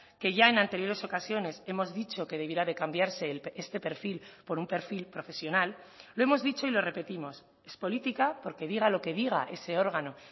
que ya en anteriores ocasiones hemos dicho que debiera de cambiarse este perfil por un perfil profesional lo hemos dicho y lo repetimos es política porque diga lo que diga ese órgano